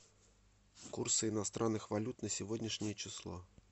курсы иностранных валют на сегодняшнее число